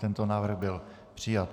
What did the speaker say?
Tento návrh byl přijat.